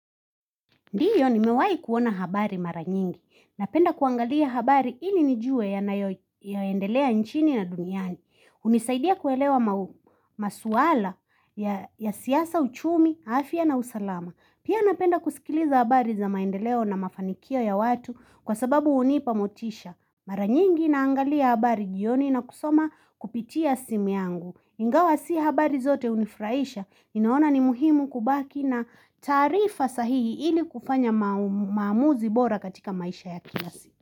Ndiyo nimewai kuona habari mara nyingi. Napenda kuangalia habari ili nijue yanayoendelea nchini na duniani. Hunisaidia kuelewa masuala ya siasa uchumi, afia na usalama. Pia napenda kusikiliza habari za maendeleo na mafanikio ya watu kwa sababu hunipa motisha. Mara nyingi naangalia habari jioni na kusoma kupitia simu yangu. Ingawa si habari zote hunifraisha, ninaona ni muhimu kubaki na taarifa sahihi ili kufanya maamuzi bora katika maisha ya kila siku.